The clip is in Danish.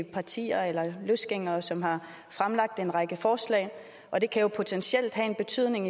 partier eller løsgængere som har fremsat en række forslag og det kan jo potentielt have en betydning